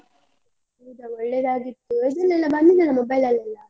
ಹೌದ ಒಳ್ಳೆದಾಗಿತ್ತು, ಅದ್ರದ್ದೇಲ್ಲ ಬಂದಿದ್ದಲ್ಲ mobile ಅಲ್ಲೆಲ್ಲ.